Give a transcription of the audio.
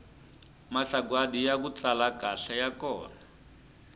masagwadi yaku tsala kahle ya kona